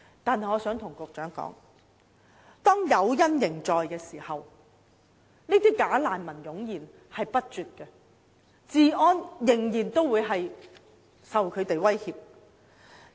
但是，我想對局長說，當誘因仍然存在的時候，這些"假難民"便會湧現不絕，香港治安仍然受到威脅。